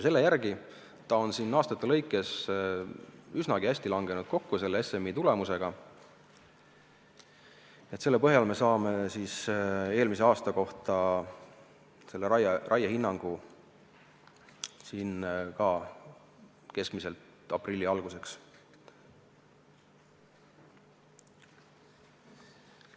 Selle järgi on ta siin aastate lõikes langenud üsna hästi kokku SMI tulemusega, nii et selle põhjal saame eelmise aasta kohta raiehinnangu tavaliselt aprilli alguseks.